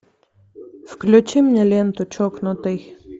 включи мне ленту чокнутый